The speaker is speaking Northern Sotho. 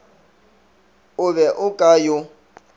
o be o ka yo